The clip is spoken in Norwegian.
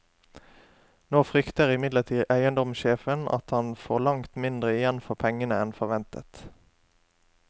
Nå frykter imidlertid eiendomssjefen at han får langt mindre igjen for pengene enn forventet.